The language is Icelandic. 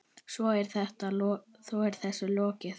Svo er þessu lokið?